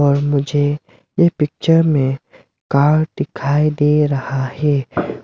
और मुझे यह पिक्चर में कार दिखाई दे रहा है।